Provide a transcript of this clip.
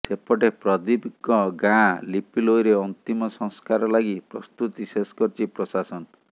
ସେପଟେ ପ୍ରଦୀପଙ୍କ ଗାଁ ଲିପିଲୋଇରେ ଅନ୍ତିମ ସଂସ୍କାର ଲାଗି ପ୍ରସ୍ତୁତି ଶେଷ କରିଛି ପ୍ରାଶାସନ